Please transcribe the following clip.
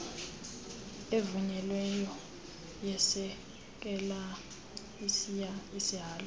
evunyelweyo yesekela sihalo